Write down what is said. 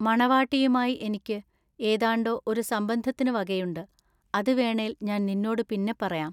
മണവാട്ടിയുമായി എനിക്ക് ഏതാണ്ടൊ ഒരു സംബന്ധത്തിനുവകയുണ്ട് അതു വേണേൽ ഞാൻ നിന്നോടു പിന്നെപ്പറയാം.